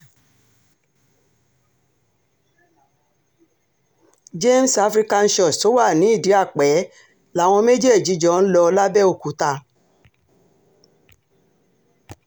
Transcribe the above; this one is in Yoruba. james african church tó wà ní ìdí-àpè táwọn méjèèjì jọ ń lò làbẹ́òkúta